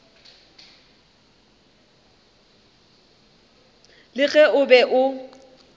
le ge o be o